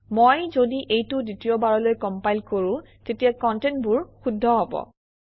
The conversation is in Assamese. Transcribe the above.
মই যদি এইটো দ্বিতীয়বাৰলৈ কমপাইল কৰোঁ তেতিয়া কণ্টেণ্ট বোৰ শুদ্ধ হব